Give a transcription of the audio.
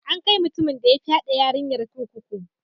An kai mutumin de ya fyade yarinyan kurkuku.